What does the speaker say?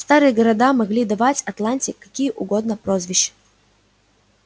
старые города могли давать атланте какие угодно прозвища